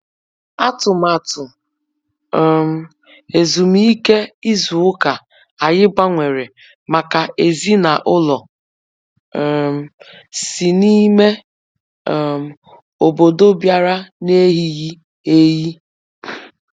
Atụmatụ um ezumike ịzụ ụka anyị gbanwere, mgbe ezinaụlọ um si n'ime um ọbọdọ bịara n'eyighị eyi.